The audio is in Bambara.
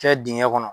Kɛ dingɛ kɔnɔ